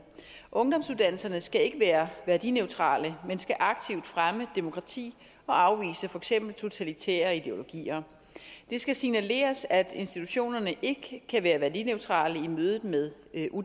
ungdomsuddannelserne skal ikke være værdineutrale men skal aktivt fremme demokrati og afvise for eksempel totalitære ideologier det skal signaleres at institutionerne ikke kan være værdineutrale i mødet med